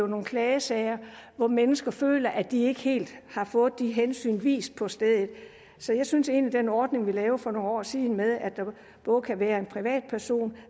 nogle klagesager hvor mennesker føler at de ikke helt har fået de hensyn vist på stedet så jeg synes egentlig at den ordning vi lavede for nogle år siden med at det både kan være en privat person